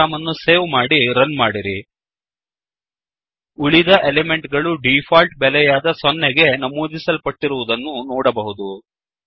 program ಅನ್ನು save ಮಾಡಿ run ಮಾಡಿರಿ ಉಳಿದ ಎಲಿಮೆಂಟ್ ಗಳು ಡಿಫಾಲ್ಟ್ ಬೆಲೆಯಾದ 0 ಗೆ ನಮೂದಿಸಲ್ಪಟ್ಟಿರುವುದನ್ನು ನೋಡಬಹುದು